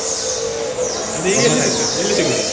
ಅದು ಈಗ್ ಎಲ್ಲಿ ಸಿಗ್ತದೆ ಎಲ್ಲಿ ಸಿಗುದಿಲ್ಲ.